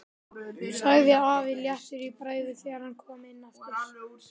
sagði afi léttur í bragði þegar hann kom inn aftur.